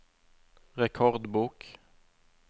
rekordbok